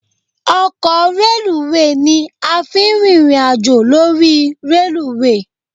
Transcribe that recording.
Ọkọ reluwé ni a fi ń rìnrìn àjò lórí reluwé